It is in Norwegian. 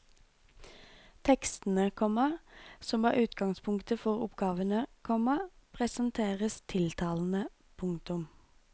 Tekstene, komma som er utgangspunktet for oppgavene, komma presenteres tiltalende. punktum